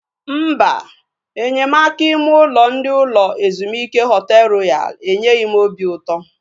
Mba, enyemaka ime ụlọ ndị ụlọ ezumike Họtel Royal enyeghị m obi ụtọ